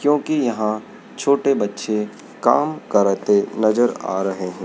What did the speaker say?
क्योंकि यहां छोटे बच्चे काम करते नजर आ रहे हैं।